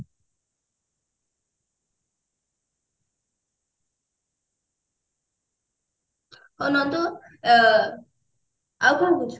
ହଉ ନନ୍ଦୁ ଅ ଆଉ କଣ କହୁଛୁ